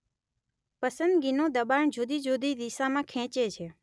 પસંદગીનું દબાણ જુદી જુદી દિશામાં ખેંચે છે